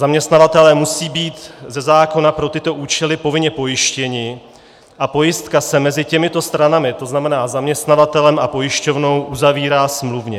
Zaměstnavatelé musí být ze zákona pro tyto účely povinně pojištěni a pojistka se mezi těmito stranami, to znamená zaměstnavatelem a pojišťovnou, uzavírá smluvně.